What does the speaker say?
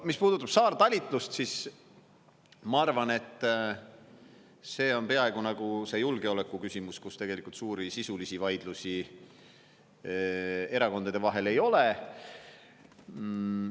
Mis puudutab saartalitlust, siis ma arvan, et see on peaaegu nagu see julgeolekuküsimus, kus tegelikult suuri sisulisi vaidlusi erakondade vahel ei ole.